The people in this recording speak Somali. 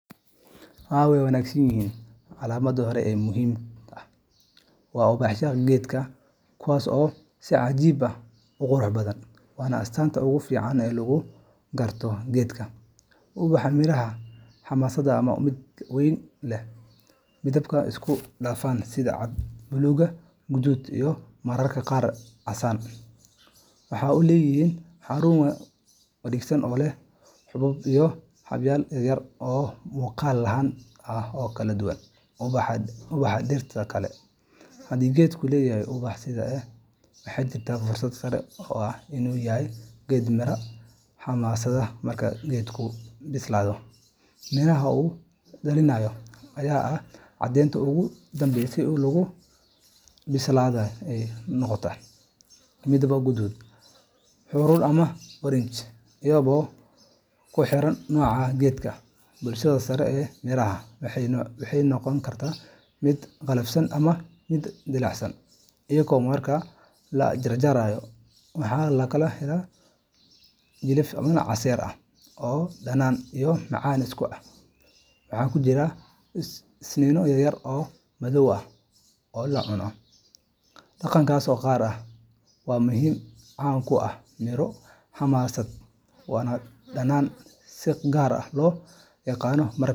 Haa waa wanagsanyihin ,Calaamada hore ee muhiimka ah waa ubaxyada geedka, kuwaas oo si cajiib ah u qurux badan, waana astaanta ugu fiican ee lagu garto geedkan. Ubaxa miraha xamaasadda waa mid weyn, lehna midabyo isku dhafan sida cad, buluug, guduud iyo mararka qaar casaan. Waxa uu leeyahay xarun wareegsan oo leh xuubab iyo xadhkayaal yaryar oo muuqaal ahaan aad u kala duwan ubaxa dhirta kale. Haddii geedku leeyahay ubax sidan u eg, waxaa jirta fursad sare oo ah in uu yahay geed miraha xamaasadda. Marka geedku bislaado, miraha uu dhaliyo ayaa ah caddeynta ugu dambaysa ee lagu xaqiijin karo inuu yahay geed xamaasad. Mirahaasi waa kuwo wareegsan ama oval ah, xilliga bislaadana ay noqdaan midab guduudan, huruud ama oranji, iyadoo ku xiran nooca geedka. Dusha sare ee miraha waxay noqon kartaa mid qallafsan ama dhalaalaysa. iyo marka la jarjaro waxaa laga helaa gudihiisa jilif casiir leh oo dhanaan iyo macaan isku ah, waxaana ku jira iniinno yaryar oo madow ah oo la cuno. Dhadhankaasi gaar ahaan waa mid caan ku ah miro xamaasad, waana dhadhan si gaar ah loo yaqaano.